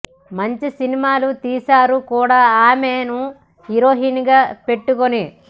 మంచి సినిమాలు తీసారు కూడా ఆమెను హీరోయిన్ గా పెట్టుకోని